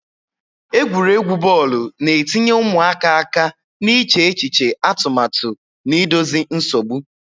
Egwuregwu bọọlụ na-etinye ụmụaka aka n'iche echiche atụmatụ na idozi nsogbu,